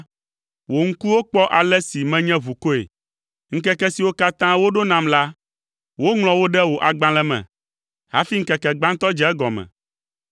wò ŋkuwo kpɔ ale si menye ʋukɔe. Ŋkeke siwo katã woɖo nam la, woŋlɔ wo ɖe wò agbalẽ me hafi ŋkeke gbãtɔ dze egɔme.